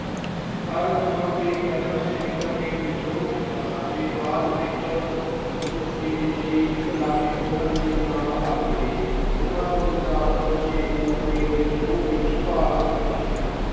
ਹਰ ਥਾਂ ਤੇ ਪਹਿਲਾਂ ਸੈਨਿਕਾਂ ਨੇ ਵਿਦਰੋਹ ਕੀਤਾ ਅਤੇ ਬਾਅਦ ਵਿੱਚ ਦੇਸੀ ਰਾਜੇ ਉਨ੍ਹਾਂ ਨਾਲ ਆ ਮਿਲੇ। ਉਨ੍ਹਾਂ ਤੋਂ ਇਲਾਵਾ ਕਿਸੇ ਹੋਰ ਨੇ ਵਿਦਰੋਹ ਵਿੱਚ ਭਾਗ ਨਾ ਲਿਆ।